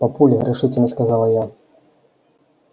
папуль решительно сказала я